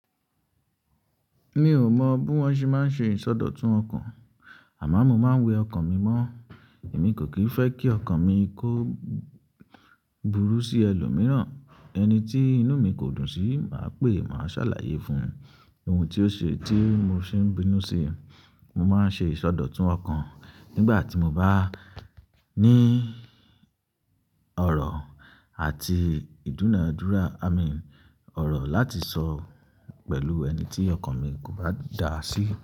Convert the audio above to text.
Mi ò mọ̀ bí wọ́n ṣe máa ń ṣe ìsọdọ̀tun ọkàn, àmọ́ mo máa ń we ọkàn mi mọ́. Èmi kò kì n fẹ́ kí ọkàn mi kó burú sí ẹlòmíràn. Ẹni tí inú mi kò dùn sí, màá pè, màá ṣàlàyé fun oun tí ó ṣe tí mo ṣe ń bínú sí. Mo máa ń ṣe ìsọdọ̀tun ọkàn nígbà tí mo bá ní ọ̀rọ̀ àti ìdúnadúrà, amin ọ̀rọ̀ láti sọ pẹ̀lú ẹni tí ọkàn mi kò bá dà sí.